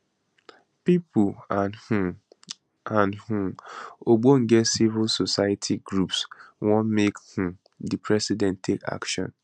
pipo and um and um ogbonge civil society groups wan make um di president take action